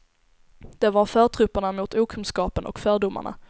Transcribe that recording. De var förtrupperna mot okunskapen och fördomarna.